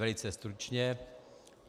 Velice stručně.